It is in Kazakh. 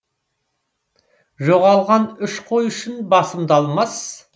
жоғалған үш қой үшін басымды алмас